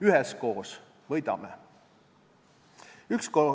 Üheskoos võidame.